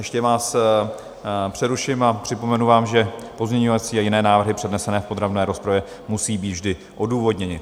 Ještě vás přeruším a připomenu vám, že pozměňovací a jiné návrhy přednesené v podrobné rozpravě musí být vždy odůvodněny.